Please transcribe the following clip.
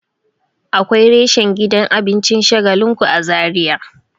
Akwai reshen gidan abincin shagalinku a zaria